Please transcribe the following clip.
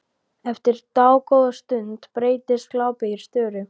Eftir dágóða stund breytist glápið í störu.